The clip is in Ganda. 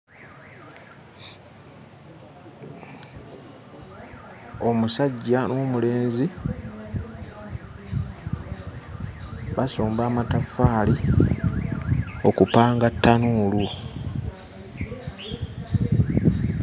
Omusajja n'omulenzi basomba amataffaali okupanga ttanuulu.